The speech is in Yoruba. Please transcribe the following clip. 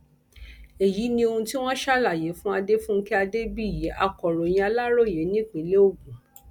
èyí ni ohun tí wọn ṣàlàyé fún adefunké adébíyì akọròyìn aláròye nípínlẹ ogun